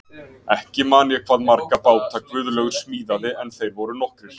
Ekki man ég hvað marga báta Guðlaugur smíðaði en þeir voru nokkrir.